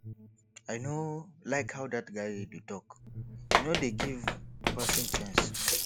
i no like how dat guy dey talk he no dey give person chance